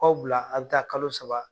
U b'aw bila, a bi taa kalo saba